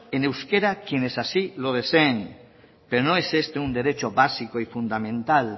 en euskera quienes así lo deseen pero no es este un derecho básico y fundamental